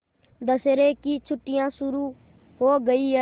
दशहरे की छुट्टियाँ शुरू हो गई हैं